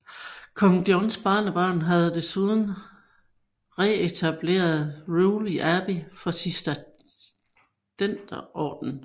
Kong Johns barnebarn havde desuden genetableret Rewley Abbey for Cistercienserordenen